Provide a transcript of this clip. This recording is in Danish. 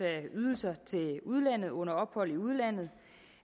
ydelser til udlandet under ophold i udlandet